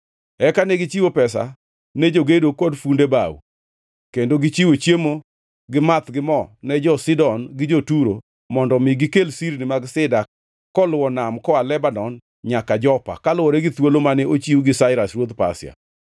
Eka negichiwo pesa ne jogedo kod funde bao, kendo gichiwo chiemo gi math gi mo ne jo-Sidon gi jo-Turo, mondo omi gikel sirni mag sida koluwo nam koa Lebanon nyaka Jopa, kaluwore gi thuolo mane ochiw gi Sairas ruodh Pasia.